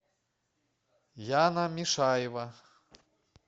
яна мишаева